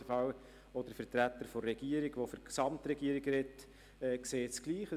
Auf jeden Fall sieht es der Vertreter der Regierung, der für die Gesamtregierung spricht, auch so.